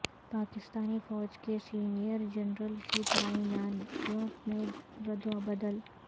پاکستانی فوج کے سینئر جرنیلوں کی تعیناتیوں میں ردوبدل